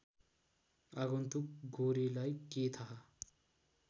आगन्तुक गोरेलाई के थाहा